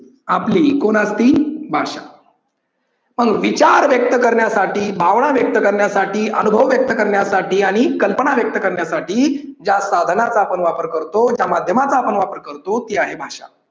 आपली कोण असती भाषा. पण विचार व्यक्त करण्यासाठी, भावना व्यक्त करण्यासाठी, अनुभव व्यक्त करण्यासाठी आणि कल्पना व्यक्त करण्यासाठी ज्या साधनाचा आपण वापर करतो त्या माध्यमाचा आपण वापर करतो ती आहे भाषा.